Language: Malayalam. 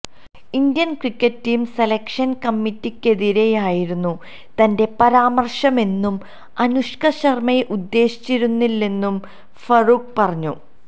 ഇന്ത്യന് ക്രിക്കറ്റ് ടീം സെലക്ഷൻ കമ്മിറ്റിക്കെതിരെയായിരുന്നു തന്റെ പരാമർശമെന്നും അനുഷ്ക ശർമ്മയെ ഉദ്ദേശിച്ചിരുന്നില്ലെന്നും ഫറൂഖ് പറഞ്ഞു